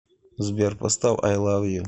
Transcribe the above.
сбер поставь ай лав ю